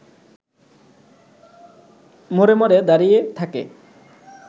মোড়ে মোড়ে দাঁড়িয়ে থাকে